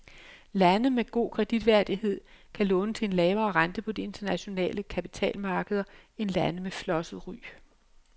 Lande med god kreditværdighed kan låne til en lavere rente på de internationale kapitalmarkeder end lande med flosset ry.